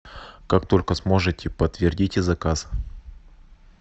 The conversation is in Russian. как только сможете подтвердите заказ